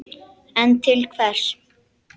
En til hvers?